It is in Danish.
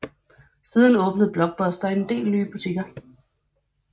Siden åbnede Blockbuster en del nye butikker